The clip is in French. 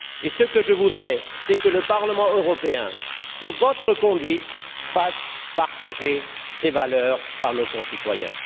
Ce que je voudrais, c'est que le Parlement européen, sous votre conduite, fasse partager ces valeurs par nos concitoyens.